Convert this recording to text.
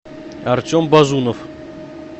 артем базунов